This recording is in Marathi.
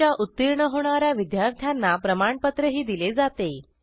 परीक्षा उत्तीर्ण होणा या विद्यार्थ्यांना प्रमाणपत्रही दिले जाते